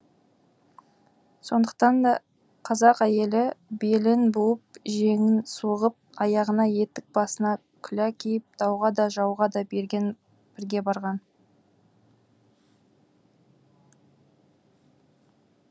сондықтан да қазақ әйелі белін буынып жеңін сұғынып аяғына етік басына күлә киіп дауға да жауға да бірге барған